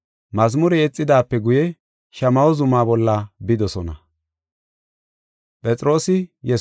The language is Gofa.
Mazmure yexidaape guye, Shamaho zuma bolla bidosona.